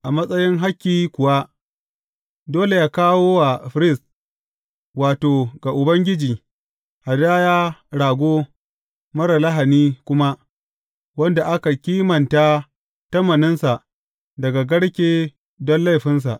A matsayin hakki kuwa, dole yă kawo wa firist, wato, ga Ubangiji, hadaya rago marar lahani kuma wanda aka kimanta tamaninsa daga garke don laifinsa.